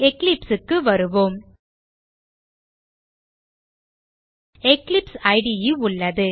eclipse க்கு வருவோம் eclipse இடே உள்ளது